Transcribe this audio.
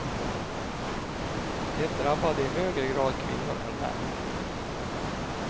Det drabbade i högre grad kvinnor än män.